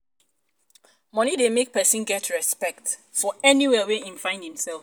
money de make um persin get respect um for anywhere wey im find i'm self